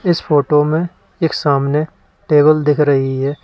इस फोटो में एक सामने टेबल दिख रही है।